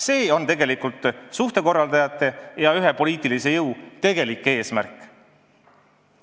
See on tegelikult suhtekorraldajate ja teatud poliitilise jõu tegelik eesmärk.